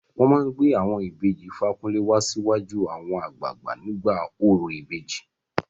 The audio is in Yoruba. Wọn máa gbé àwọn ìbejì Fakunle wá síwájú àwọn àgbààgbà nígbà orò ìbejì.